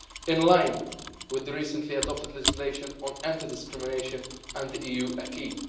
in line with the recently adopted legislation on anti discrimination and the EU acquis.